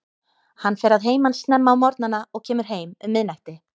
Hann fer að heiman snemma á morgnana og kemur heim um miðnætti.